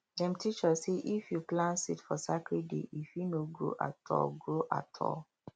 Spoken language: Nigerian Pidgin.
dem teach us say if you plant seed for sacred day e fit no grow at all grow at all